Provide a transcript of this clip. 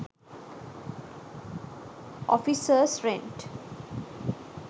offices rent